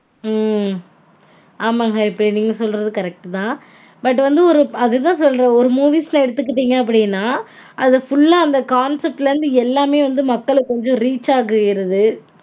ஹம் ஆமாங்க இப்போ நீங்க சொல்றது correct -தா but வந்து ஒரு அதுதா சொல்றேன் ஒரு movies -ல எடுத்துக்கிட்டீங்க அப்டீனா அது full -ஆ அந்த concept -ல இருந்து எல்லாமே வந்து மக்கள்க்கு கொஞ்சம் reach ஆயிருது